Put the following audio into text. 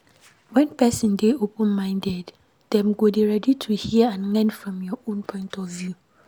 When person dey open minded, dem go dey ready to hear and learn from your own point of view